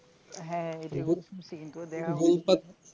হ্যাঁ